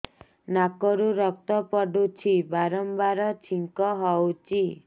ନାକରୁ ରକ୍ତ ପଡୁଛି ବାରମ୍ବାର ଛିଙ୍କ ହଉଚି